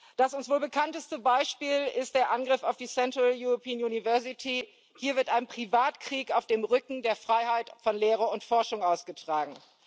Das uns wohl bekannteste Beispiel ist der Angriff auf die Central European University Hier wird ein Privatkrieg auf dem Rücken der Freiheit von Lehre und Forschung ausgetragen.